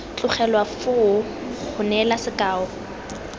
tlogelwa foo go neela sekao